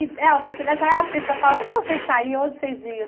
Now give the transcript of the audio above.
E Delba você nessa época em São Paulo, onde você saia, onde vocês iam?